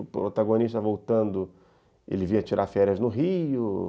O protagonista voltando, ele vinha tirar férias no Rio.